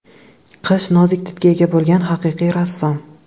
Qish nozik didga ega bo‘lgan haqiqiy rassom.